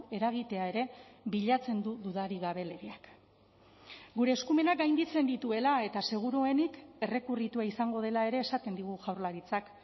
eragitea ere bilatzen du dudarik gabe legeak gure eskumenak gainditzen dituela eta seguruenik errekurritua izango dela ere esaten digu jaurlaritzak